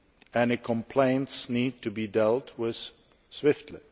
Any complaints need to be dealt with swiftly.